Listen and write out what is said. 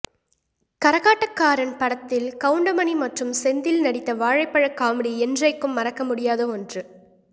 கரகாட்டக்காரன் படத்தில் கவுண்டமணி மற்றும் செந்தில் நடித்த வாழைப்பழ காமெடி என்றைக்கும் மறக்க முடியாத ஒன்று